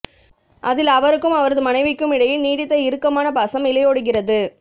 அதில் அவருக்கும் அவரது மனைவிக்கும் இடையே நீடித்த இறுக்கமான பாசம் இழையோடுகிறது